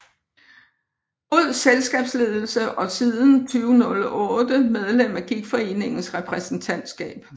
God Selskabsledelse og siden 2008 medlem af Gigtforeningens repræsentantskab